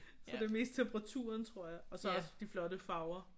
Så det er mest temperaturen tror jeg og så også de flotte farver